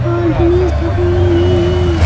और गणेश भगवान भी है।